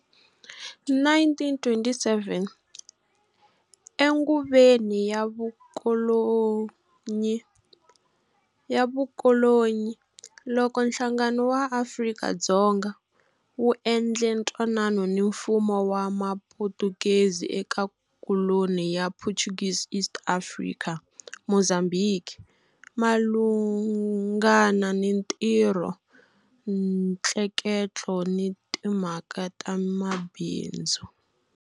1927, enguveni ya vukolonyi, loko Nhlangano wa Afrika-Dzonga wu endle ntwanano ni Mfumo wa Muputukezi eka koloni ya Portuguese East Africa, Mozambhiki, malunghana ni ntirho, ntleketlo ni timhaka ta mabindzu.